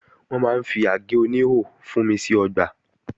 Wọ́n máa ń fi àgé oníhò fúnmi sí ọgbà